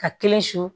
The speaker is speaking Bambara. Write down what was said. Ka kelen su